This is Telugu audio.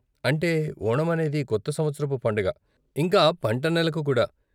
అంటే ఓణం అనేది కొత్త సంవత్సరపు పండగ, ఇంకా పంట నెలకు కూడా.